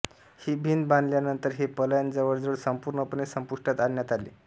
ही भिंत बांधल्यानंतर हे पलायन जवळजवळ संपुर्णपणे संपुष्टात आणण्यात आले